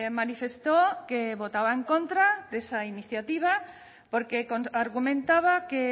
manifestó que votaba en contra de esa iniciativa porque argumentaba que